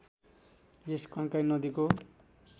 यस कन्काई नदीको